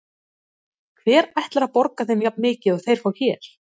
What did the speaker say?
Hver ætlar að borga þeim jafnmikið og þeir fá hér?